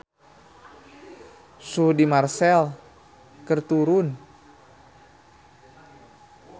Suhu di Marseille keur turun